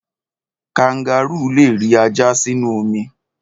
Kangárù le ri ajá sínú omi.